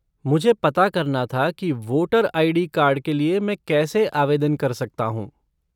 मुझे पता करना था कि वोटर आई.डी. कार्ड के लिए मैं कैसे आवेदन कर सकता हूँ।